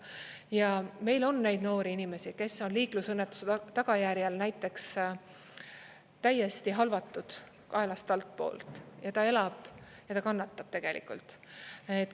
Ja meil on neid noori inimesi, kes on liiklusõnnetuse tagajärjel näiteks täiesti halvatud, kaelast altpoolt, ja ta elab ja ta kannatab tegelikult.